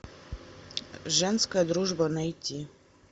женская дружба найти